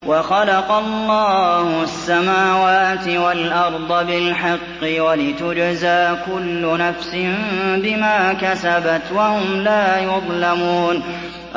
وَخَلَقَ اللَّهُ السَّمَاوَاتِ وَالْأَرْضَ بِالْحَقِّ وَلِتُجْزَىٰ كُلُّ نَفْسٍ بِمَا كَسَبَتْ وَهُمْ لَا يُظْلَمُونَ